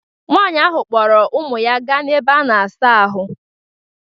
Nwaanyị ahụ kpọrọ ụmụ ya ga n'ebe a na-asa ahụ.